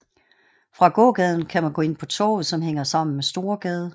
Fra gågaden kan man gå ind på Torvet som hænger sammen med Storegade